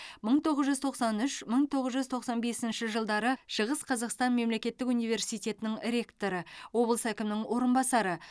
мың тоғыз жүз тоқсан үш мың тоғыз жүз тоқсан бесінші жылдары шығыс қазақстан мемлекеттік университетінің ректоры облыс әкімінің орынбасары